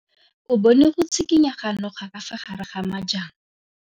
O bone go tshikinya ga noga ka fa gare ga majang.